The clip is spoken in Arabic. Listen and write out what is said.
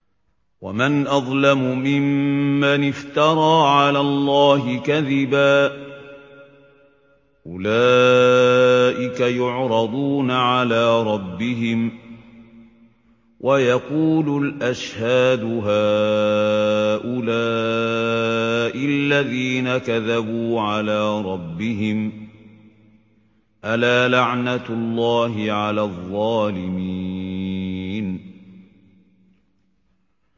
وَمَنْ أَظْلَمُ مِمَّنِ افْتَرَىٰ عَلَى اللَّهِ كَذِبًا ۚ أُولَٰئِكَ يُعْرَضُونَ عَلَىٰ رَبِّهِمْ وَيَقُولُ الْأَشْهَادُ هَٰؤُلَاءِ الَّذِينَ كَذَبُوا عَلَىٰ رَبِّهِمْ ۚ أَلَا لَعْنَةُ اللَّهِ عَلَى الظَّالِمِينَ